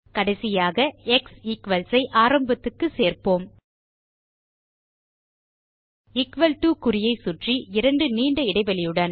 கடைசியாக x equals ஐ ஆரம்பத்துக்கு சேர்ப்போம் எக்குவல் டோ குறியை சுற்றி இரண்டு நீண்ட இடைவெளியுடன்